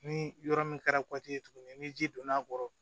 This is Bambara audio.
Ni yɔrɔ min kɛra tuguni ni ji donn'a kɔrɔ